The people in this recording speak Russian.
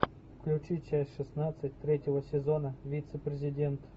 включи часть шестнадцать третьего сезона вице президент